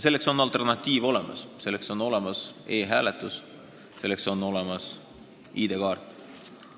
Selleks on alternatiiv olemas: selleks on olemas e-hääletus, selleks on olemas ID-kaart.